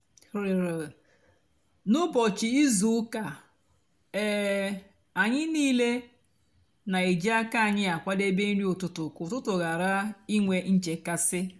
n'úbọchị ízú úkà um ányị nííle nà-èjí ákà ányị àkwádébé nri ụtụtụ kà útútú ghárá ínwé nchekasị.